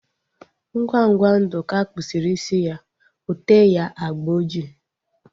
Ngwa ngwa Nduka kpusiri isi ya, ote ya agba ojii